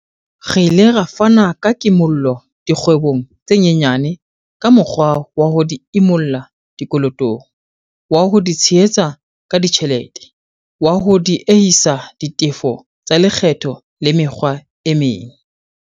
Re ile ra fana ka kimollo dikgwebong tse nyenyane ka mokgwa wa ho di imolla dikolotong, wa ho di tshehetsa ka ditjhelete, wa ho diehisa ditefo tsa le kgetho le mekgwa e meng.